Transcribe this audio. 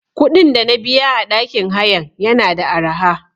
Kuɗin dana biya a ɗakin hayan yana da araha.